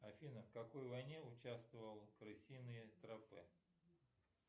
афина в какой войне участвовал крысиные тропы